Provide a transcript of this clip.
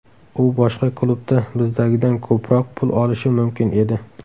U boshqa klubda bizdagidan ko‘proq pul olishi mumkin edi.